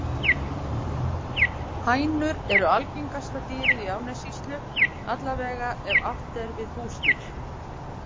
Hænur eru algengasta dýrið í Árnessýslu, alla vega ef átt er við húsdýr.